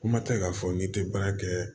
Kuma tɛ k'a fɔ n'i tɛ baara kɛ